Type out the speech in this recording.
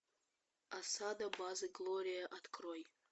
осада базы глория открой